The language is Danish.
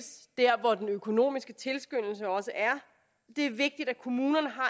der hvor den økonomiske tilskyndelse også er det er vigtigt at kommunerne har